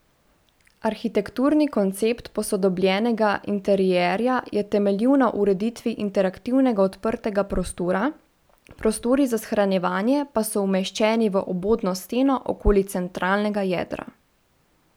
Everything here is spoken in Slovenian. Arhitekturni koncept posodobljenega interierja je temeljil na ureditvi interaktivnega odprtega prostora, prostori za shranjevanje pa so umeščeni v obodno steno okoli centralnega jedra.